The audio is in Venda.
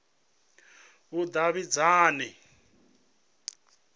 vhudavhidzani